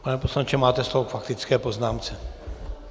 Pane poslanče, máte slovo k faktické poznámce.